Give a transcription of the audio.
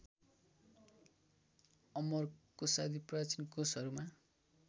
अमरकोषादि प्राचीन कोशहरूमा